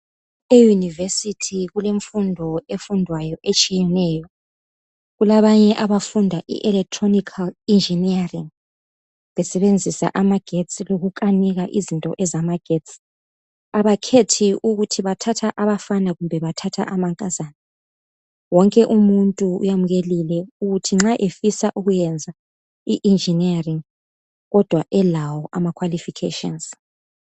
E univesithi kulemfundo efundwayo etshiyeneyo kulabanye abafunda i electric engineering besebenzisa amagesti lokukanika izinto ezamagesti abakhethi ukuthi bathatha abankazana loba abafana wonke umuntu uyamukeliwe ukuthi nxa efisa ukufunda i electric engineering Kodwa elawo ama qualifications